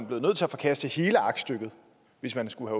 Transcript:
været nødt til at forkaste hele aktstykket hvis man skulle